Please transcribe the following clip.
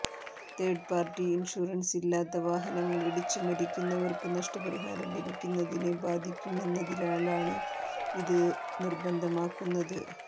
തേഡ് party insurance ഇല്ലാത്ത വാഹനങ്ങള് ഇടിച്ച് മരിക്കുന്നവര്ക്ക് നഷ്ടപരിഹാരം ലഭിക്കുന്നതിനെ ബാധിക്കുമെന്നതിനാലാണ് ഇത് നിര്ബന്ധമാക്കുന്നത്